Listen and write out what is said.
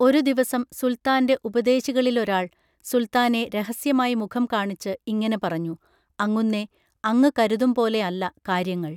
ഒരുദിവസം സുൽത്താൻറെ ഉപദേശികളിലൊരാൾ സുൽത്താനെ രഹസ്യമായി മുഖംകാണിച്ച് ഇങ്ങനെ പറഞ്ഞു അങ്ങുന്നേ, അങ്ങ് കരുതുംപോലെയല്ല കാര്യങ്ങൾ